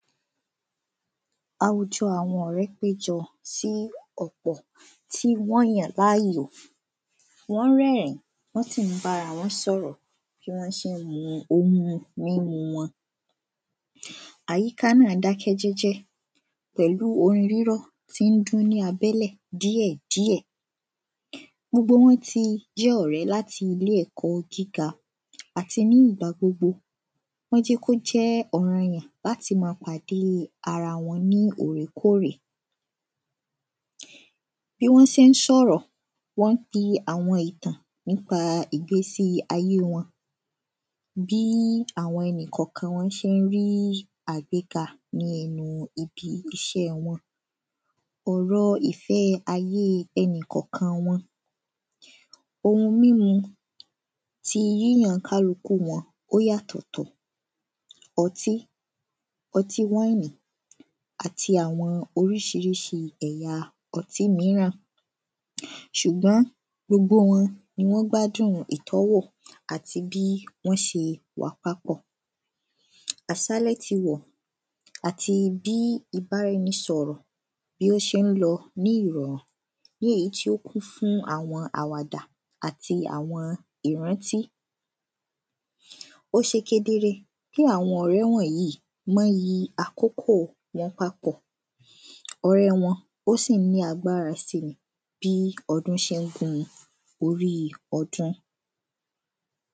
Àwùjọ àwọn ọ̀rẹ́ péjọ sí ọ̀pọ̀ tí Wọ́n ń rẹ́rìn wọ́n sì ń bá ara wọn sọ̀rọ̀ bí wọ́n ṣe ń mu omi mímu wọn Àyíká náà dákẹ́ jẹ́jẹ́ pẹ̀lú orin rírọ̀ tí ń dún ní abẹ́lẹ̀ díẹ̀díẹ̀ Gbogbo wọn ti jẹ́ ọ̀rẹ́ láti ilé ẹ̀kọ́ gíga àti ní ìgbà gbogbo Wọ́n jẹ́ kí ó jẹ́ ọ̀rọ̀ọyàn láti ma pàdé ara wọn ní òrèkóòrè Bí wọ́n ṣe ń sọ̀rọ̀ wọ́n ń pi àwọn ìtàn nípa ìgbésí ayé wọn Bí àwọn ẹnikọ̀ọ̀kan wọn ṣe ń rí àgbéga ní ẹnu ibi iṣé wọn Ọ̀rọ̀ ìfẹ́ ayée ẹnikọ̀ọ̀kan wọn Òun mímu ti yíyàn kálukú wọn ó yàtọ̀ọ̀tọ̀ Ọtí ọtí wine àti àwọn oríṣiríṣi èyà ọtí míràn Ṣùgbọ́n gbogbo wọn ni wọ́n ń gbádùn ìtọ́wò àti bí wọ́n ṣe wà papọ̀ Àṣálẹ́ ti rọ̀ àti bí ìbáraẹnisọ̀rọ̀ bí ó ṣe ń lọ ní ìrọ̀rùn ní èyí tí ó kún fún àwon àwàdà àti àwọn ìrántí Ó ṣe kedere pé àwọn ọ̀rẹ́ wọ̀nyìí mọ iyì àkókò wọn papọ̀ Ọ̀rẹ́ wọn ó sì ń ní agbára si ni bí ọdún ṣe ń gun orí ọdún